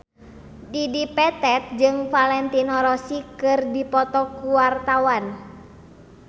Dedi Petet jeung Valentino Rossi keur dipoto ku wartawan